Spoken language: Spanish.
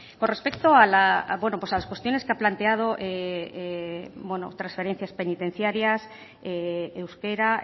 con respecto a las cuestiones que ha planteado trasferencias penitenciarias euskera